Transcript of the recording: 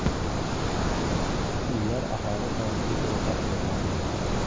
Uylar aholi soniga ko‘ra taqsimlangan.